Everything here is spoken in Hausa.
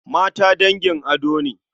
Mata dangin ado ne.